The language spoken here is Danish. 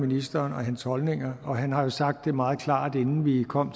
ministeren og hans holdninger og han har jo sagt det meget klart inden vi kom